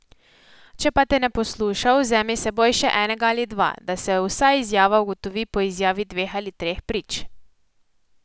Če pa te ne posluša, vzemi s seboj še enega ali dva, da se vsa izjava ugotovi po izjavi dveh ali treh prič.